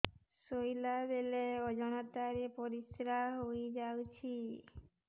ଶୋଇଲା ବେଳେ ଅଜାଣତ ରେ ପରିସ୍ରା ହେଇଯାଉଛି